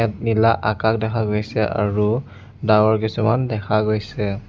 নীলা আকাশ দেখা গৈছে আৰু ডাৱৰ কিছুমান দেখা গৈছে।